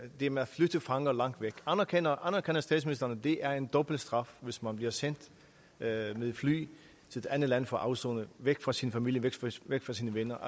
det med at flytte fanger langt væk anerkender statsministeren at det er en dobbelt straf hvis man bliver sendt med fly til et andet land for at afsone væk fra sin familie væk væk fra sine venner